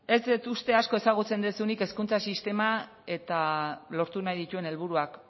ez dut uste asko ezagutzen duzunik hezkuntza sistema eta lortu nahi dituen helburuak